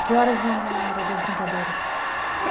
Que horas eram a hora das brincadeiras? Eh